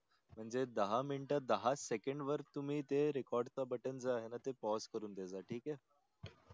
म्हणजे दहा मिनटे दहा सेकंड वर ते record च button जे आहे ना PAUSE करून ठेवजा ठीक आहे